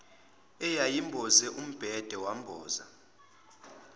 eyayimboze umbhede wamboza